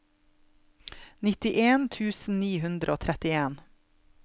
nittien tusen ni hundre og trettien